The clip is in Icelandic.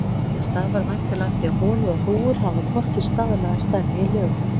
Þetta stafar væntanlega af því að holur og hrúgur hafa hvorki staðlaða stærð né lögun.